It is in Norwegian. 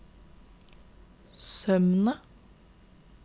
Sømna